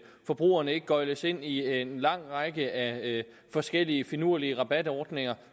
forbrugerne ikke gøgles ind i en lang række af forskellige finurlige rabatordninger